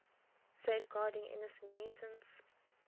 safeguarding innocent mutants